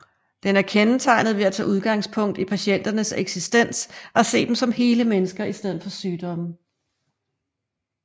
Den er kendetegnet ved at tage udgangspunkt i patienternes eksistens og se dem som hele mennesker i stedet for sygdomme